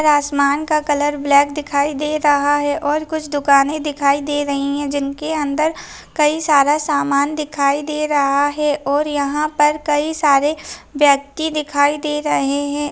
उपर आसमान का कलर ब्लॅक दिखाई दे रहा है और कुछ दुकाने दिखाई दे रही है जिन के अंदर कई सारा समान दिखाई दे रहा है और यहाँ पर कई सारे व्यक्ति दिखाई दे रहे है।